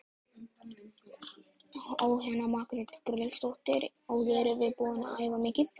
Jóhanna Margrét Gísladóttir: Og eruð þið búin að æfa mikið?